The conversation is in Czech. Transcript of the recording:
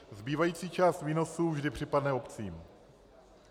Zbývající část výnosu vždy připadne obcím.